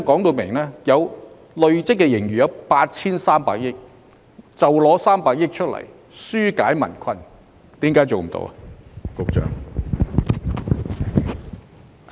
局長答謂累積盈餘有 8,300 億元，那麼大可動用300億元紓減民困，為何這也做不到呢？